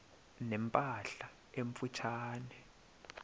ne mpahla emfutshane